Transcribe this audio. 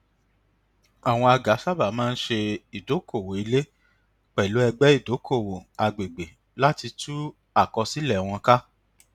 àwọn agà sábà máa ń ṣe ìdokoowó ilé pẹlú ẹgbẹ ìdokoowó agbègbè láti tú àkósílẹ wọn ká